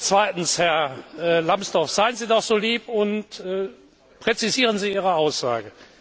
Zweitens Herr Lambsdorff, seien Sie doch so lieb und präzisieren Sie Ihre Aussage.